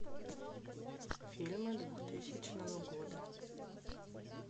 фильмы двухтысячного года